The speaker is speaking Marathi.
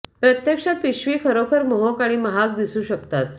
प्रत्यक्षात पिशवी खरोखर मोहक आणि महाग दिसू शकतात